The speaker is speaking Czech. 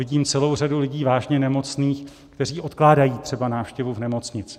Vidím celou řadu lidí vážně nemocných, kteří odkládají třeba návštěvu v nemocnici.